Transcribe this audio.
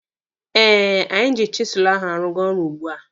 Eh, anyị ji chisụlụ ahụ arụga ọrụ ugbua.